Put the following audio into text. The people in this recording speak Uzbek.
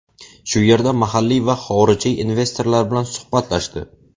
Shu yerda mahalliy va xorijiy investorlar bilan suhbatlashdi.